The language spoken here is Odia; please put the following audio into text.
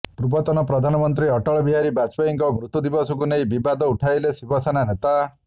ପୂର୍ବତନ ପ୍ରଧାନମନ୍ତ୍ରୀ ଅଟଳ ବିହାରୀ ବାଜପେୟୀଙ୍କ ମୃତ୍ୟୁ ଦିବସକୁ ନେଇ ବିବାଦ ଉଠାଇଲେ ଶିବସେନା ନେତା